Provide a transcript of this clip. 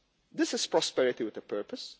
This is prosperity with a purpose